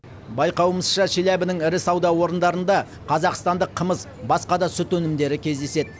байқауымызша челябінің ірі сауда орындарында қазақстандық қымыз басқа да сүт өнімдері кездеседі